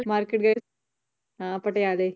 ਹਾਂ ਪਟਿਆਲੇ